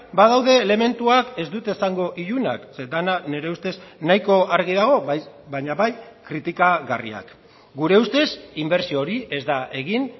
badaude elementuak ez dut esango ilunak zeren dena nire ustez nahiko argi dago baina bai kritikagarriak gure ustez inbertsio hori ez da egin